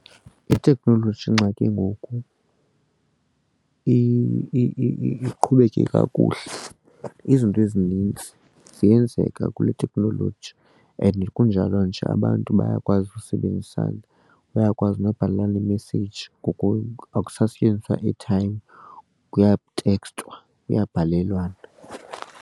Iteknoloji ingxaki ngoku iqhubeke kakuhle izinto ezinintsi ziyenzeka kule teknoloji and kunjalo nje abantu bayakwazi ukusebenzisana, bayakwazi nobhalelana iimeseyiji ngoku akusasetyenziswa airtime kuyatekstwa kuyabhalelwana.